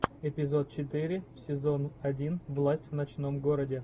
эпизод четыре сезон один власть в ночном городе